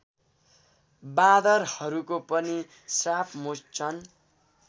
बाँदरहरूको पनि श्रापमोचन